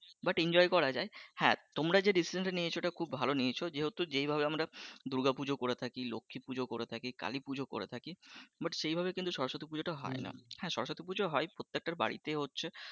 but enjoy করা যায় হ্যাঁ তোমরা যে decision নিয়েছো খুব ভালো নিয়েছো যেহেতু যেই ভাবে আমরা দুর্গা পূজো করে থাকি, লক্ষ্মী পূজো করে থাকি, কালী পুজো করে থাকি but সেইভাবে কিন্তু সরস্বতী পুজোটা হয় না, হ্যাঁ সরস্বতী পূজো হয় প্রত্যেকটা বাড়িতে হচ্ছে,